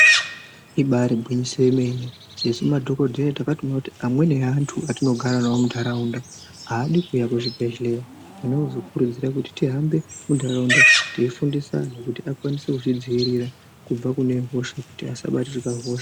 Ibairi gwinyiso yemene sesu madhokodheya takatoone kuti amweni eantu atinogara nawo mundaraunda aadi kuuya kuzvibhedhelera zvinozokurudzira kuti tihambe mundaraunda teifundisa antu kuti akwanise kuzvidziirira kubva kune hosha kuti asabatirwa hosha.